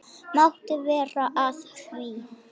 Máttu vera að því?